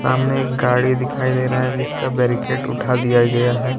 हमें एक गाड़ी दिखाई दे रहा हैं जिसका बैरिगेट उठा दिया गया हैं।